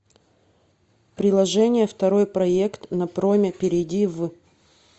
приложение второй проект на проме перейди в